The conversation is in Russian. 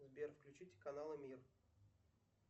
сбер включите каналы мир